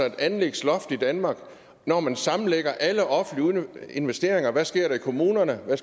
et anlægsloft i danmark når man sammenlægger alle offentlige investeringer i hvad sker der i kommunerne hvad